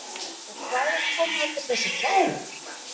Og hvaðan koma allir þessir vettlingar?